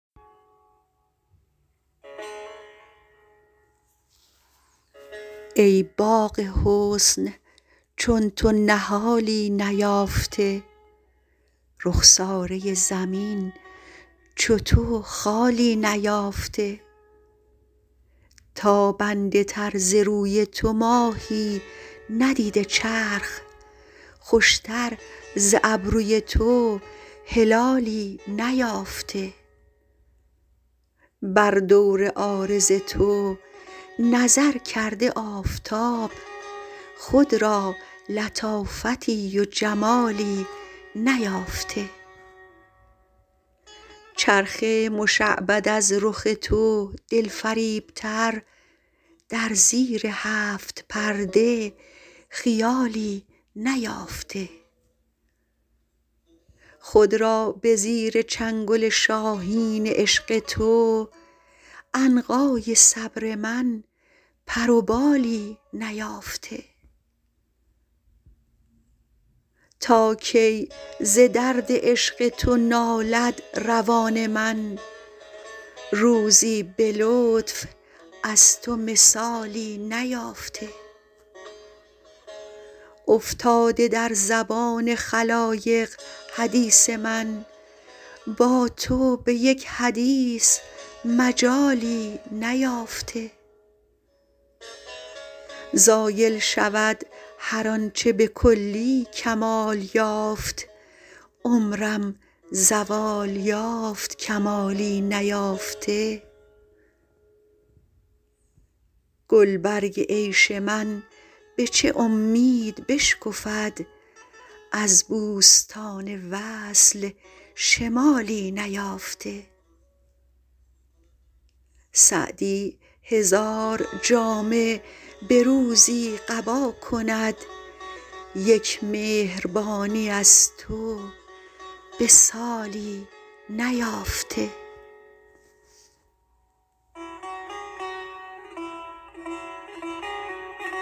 ای باغ حسن چون تو نهالی نیافته رخساره زمین چو تو خالی نیافته تابنده تر ز روی تو ماهی ندیده چرخ خوشتر ز ابروی تو هلالی نیافته بر دور عارض تو نظر کرده آفتاب خود را لطافتی و جمالی نیافته چرخ مشعبد از رخ تو دلفریبتر در زیر هفت پرده خیالی نیافته خود را به زیر چنگل شاهین عشق تو عنقای صبر من پر و بالی نیافته تا کی ز درد عشق تو نالد روان من روزی به لطف از تو مثالی نیافته افتاده در زبان خلایق حدیث من با تو به یک حدیث مجالی نیافته زایل شود هر آن چه به کلی کمال یافت عمرم زوال یافت کمالی نیافته گلبرگ عیش من به چه امید بشکفد از بوستان وصل شمالی نیافته سعدی هزار جامه به روزی قبا کند یک مهربانی از تو به سالی نیافته